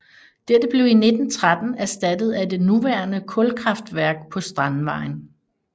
Dette blev i 1913 erstattet af det nuværende kulkraftværk på Strandvejen